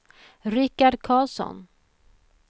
Rickard Karlsson